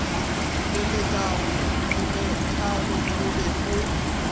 tšweletšago kelelathalo o be o